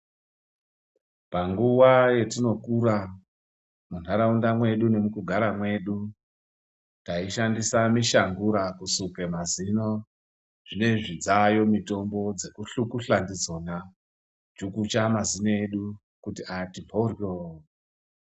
Panguwa yatinokura mundaraunda mwedu mwetinogara taishandisa mushangura kusuka mazino edu zvinezvi dzayo mitombo dzekuhlukuza ndidzona Kuchukucha mazino edu kuti ati mboryo.